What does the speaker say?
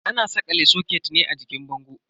Ana sakala soket ne a jikin bango.